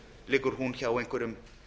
liggur hún hjá einhverjum